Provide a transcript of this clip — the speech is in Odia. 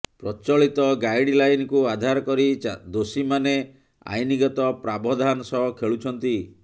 ପ୍ରଚଳିତ ଗାଇଡଲାଇନକୁ ଆଧାର କରି ଦୋଷୀମାନେ ଆଇନଗତ ପ୍ରାବଧାନ ସହ ଖେଳୁଛନ୍ତି